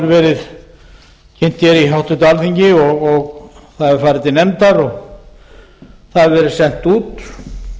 verið kynnt hér í háttvirtu alþingi og það hefur farið til nefndar og það hefur verið sent út